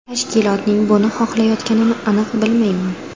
Tashkilotning buni xohlayotganini aniq bilmayman.